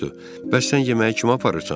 Bəs sən yeməyi kimə aparırsan?